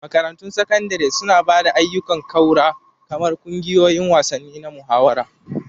Makarantun Sakandare suna ba da ayyukan ƙaura kamar ƙungiyoyin wasanni na muhawara.